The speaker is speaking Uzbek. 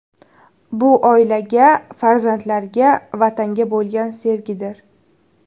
Bu oilaga, farzandlarga, Vatanga bo‘lgan sevgidir.